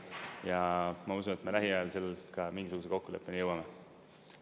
Ja ma usun, et me lähiajal seal ka mingisuguse kokkuleppeni jõuame.